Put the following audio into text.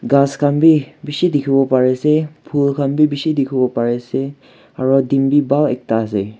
ghas khan bi bishi dikhiwo pariase phool khan bi bishi dikhiwo pariase aro din bi bhal ekta ase.